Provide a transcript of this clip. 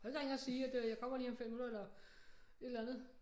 Kunne ikke ringe og sige at øh jeg kommer lige om 5 minutter eller et eller andet